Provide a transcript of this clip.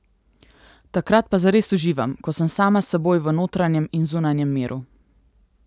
Takrat pa zares uživam, ko sem sama s seboj v notranjem in zunanjem miru.